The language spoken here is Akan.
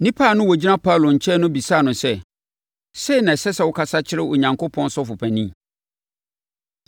Nnipa a na wɔgyina Paulo nkyɛn no bisaa no sɛ, “Sei na ɛsɛ sɛ wokasa kyerɛ Onyankopɔn sɔfopanin?”